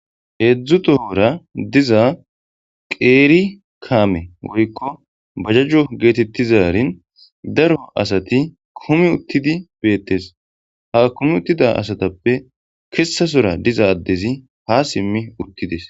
heedzdzutohora diza qeeri kaame wurikko bajajjo geetettizarin daro asati kumi uttidi beettes ha kumi uttida asatappe kessasora diza addezi ha simmi uttides